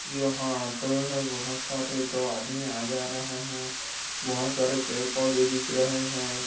यहाँ ऑटो हैं बहुत सारे दो आदमी आ जा रहे हैं बहुत सारे पेड़ पौधे दिख रहे हैं।